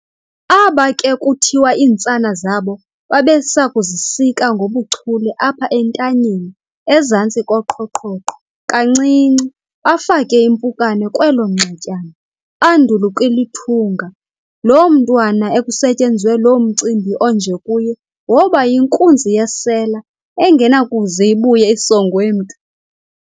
Aba ke kuthiwa iintsana zabo babesakuzisika ngobuchule apha entanyeni ezantsi koqhoqhoqho kancinci, bafake impukane kwelo nxetyana, bandul'ukulithunga. Lo mntwana ekusetyenzwe lo mcimbi onje kuye, woba yinkunzi yesela engenakuze ibuye isongwe mntu.